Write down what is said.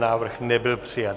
Návrh nebyl přijat.